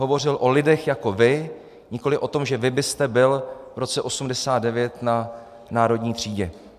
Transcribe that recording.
Hovořil o lidech jako vy, nikoliv o tom, že vy byste byl v roce 1989 na Národní třídě.